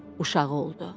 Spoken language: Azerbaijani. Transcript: Uşağı oldu.